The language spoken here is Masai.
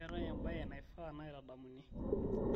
keetae embae naifaa naitadamuni